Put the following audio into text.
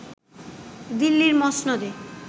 দিল্লির মসনদে